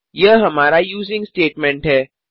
यह हमारा using statement है